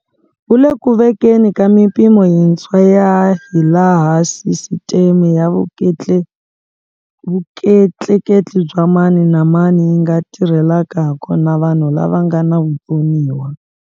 Wu le ku vekeni ka mipimo yintshwa ya hilaha sisiteme ya vutleketli bya mani na mani yi nga tirhelaka hakona vanhu lava nga na vutsoniwa.